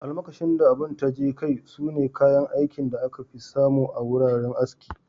Almakashi da abun taje kai, sune kayan aikin da aka fi samu a wuraren aski.